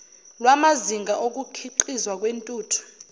lwamazinga okukhiqizwa kwentuthu